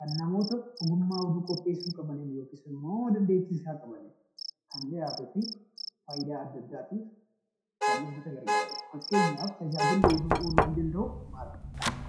kan namoota ogummaa oduu qopheessuu qabaniin yookiin immoo dandeettii isaa qabaniin kan dhiyaatuu fi faayidaa addaa addaatiif kan uummata gargaaruu dha. Fakkeenyaaf tajaajilli oduun ooluu danda'uuf maal?